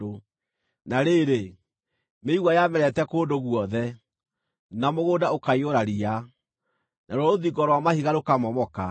na rĩrĩ, mĩigua yamerete kũndũ guothe, na mũgũnda ũkaiyũra riya, naruo rũthingo rwa mahiga rũkamomoka.